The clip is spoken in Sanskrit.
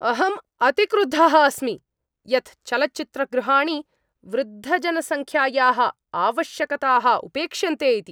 अहम् अतिक्रुद्धः अस्मि यत् चलच्चित्रगृहाणि वृद्धजनसङ्ख्यायाः आवश्यकताः उपेक्षन्ते इति।